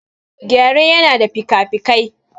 Gyare yana da fikafikai.